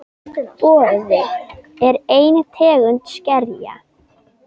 Boði: er ein tegund skerja.